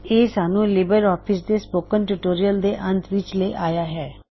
ਇਹ ਸਾਨੂੰ LibreOffice Writer ਦੇ ਸਪੋਕਨ ਟਿਊਟੋਰਿਯਲ ਦੇ ਅੰਤ ਵਿੱਚ ਲੈ ਆਇਆ ਹੈ